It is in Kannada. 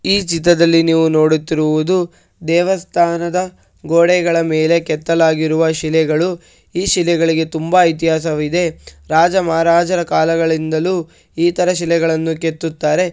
ಈ ಚಿತ್ರದಲ್ಲಿ ನೀವು ನೋಡುತ್ತಿರುವುದು ದೇವಸ್ಥಾನದ ಗೋಡೆಗಳ ಮೇಲೆ ಕೆತ್ತಲಾಗಿರುವ ಶಿಲೆಗಳು ಈ ಶಿಲೆಗಳಿಗೆ ತುಂಬಾ ಇತಿಹಾಸವಿದೆ ರಾಜ ಮಹಾರಾಜರ ಕಾಲದಿಂದಲೂ ಈ ತರ ಶಿಲೆಗಳನ್ನು ಕೆತ್ತುತ್ತಾರೆ.